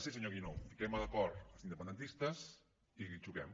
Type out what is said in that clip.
sí senyor guinó fiquem d’acord els independentistes i xoquem